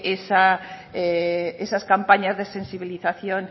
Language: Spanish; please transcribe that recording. esas campañas de sensibilización